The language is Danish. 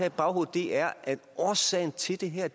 i baghovedet er at årsagen til det her